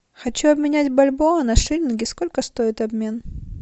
хочу обменять бальбоа на шиллинги сколько стоит обмен